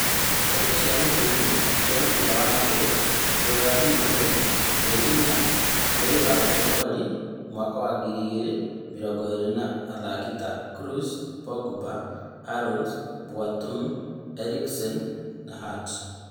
Ndeto cia mũhuhu cia mũbira wa magũrũ Rũraya juma mothi mweri inya mweri wa Januarĩ mwaka wa ngiri igĩrĩ mĩrongo ĩrĩ, athaki ta Kroos, Pogba, Aarons, Boateng, Sancho, Hart, Eriksen